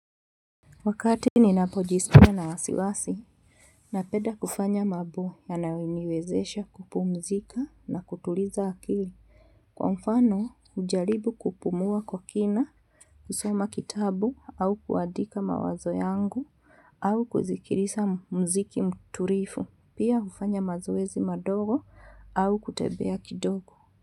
Wakati ninapojiskia na wasiwasi, napenda kufanya mambo na yanayoniwezesha kupumzika na kutuliza akili. Kwa mfano, hujaribu kupumua kwa kina, kusoma kitabu au kuandika mawazo yangu au kusikiliza mziki mtulivu. Pia hufanya mazoezi madogo au kutembea kidogo.